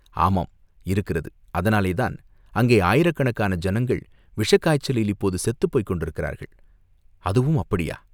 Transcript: ஆமாம், இருக்கிறது அதனாலேதான் அங்கே ஆயிரக்கணக்கான ஜனங்கள் விஷக்காய்ச்சலில் இப்போது செத்துப் போய்க் கொண்டிருக்கிறார்கள், அதுவும் அப்படியா?